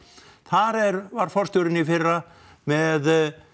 þar er var forstjórinn í fyrra með